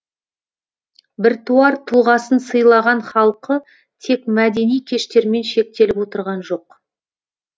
біртуар тұлғасын сыйлаған халқы тек мәдени кештермен шектеліп отырған жоқ